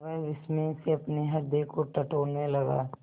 वह विस्मय से अपने हृदय को टटोलने लगा